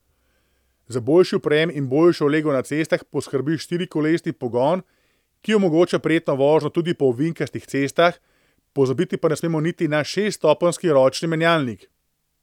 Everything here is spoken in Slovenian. Za boljši oprijem in boljšo lego na cestah poskrbi štirikolesni pogon, ki omogoča prijetno vožnjo tudi po ovinkastih cestah, pozabiti pa ne smemo niti na šeststopenjski ročni menjalnik.